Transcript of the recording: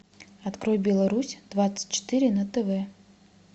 открой беларусь двадцать четыре на тв